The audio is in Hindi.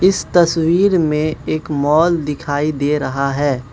इस तस्वीर में एक मॉल दिखाई दे रहा है।